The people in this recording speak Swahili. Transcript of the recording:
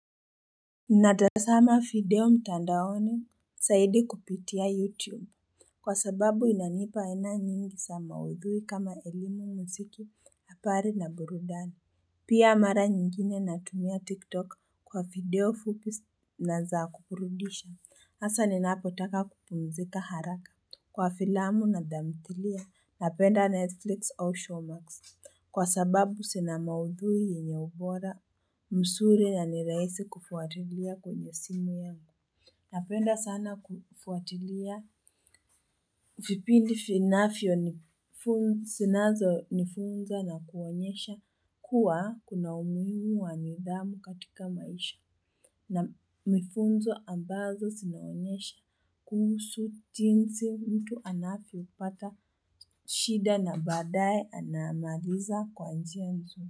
Natazama video mtandaoni, zaidi kupitia YouTube. Kwa sababu inanipa aina nyingi za maudhui kama elimu mziki, habari na burudani. Pia mara nyingine natumia TikTok kwa video fupi na za kuburudisha. Asa ninapotaka kupumzika haraka. Kwa filamu na thamthilia, napenda Netflix au Showmax. Kwa sababu zina maudhuii yenye ubora, mzuri na niraisi kufuatilia kwenye simu yangu. Napenda sana kufuatilia vipindi vinafyo nifunza na kuonyesha kuwa kuna umuhimu wa nidamu katika maisha. Na nifunzo ambazo zinaonyesha kuhusu jinsi mtu anavyo pata shida na badaye anamaliza kwa njia mzuri.